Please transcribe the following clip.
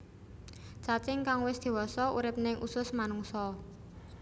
Cacing kang wis dewasa urip ning usus manungsa